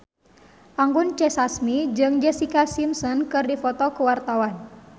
Anggun C. Sasmi jeung Jessica Simpson keur dipoto ku wartawan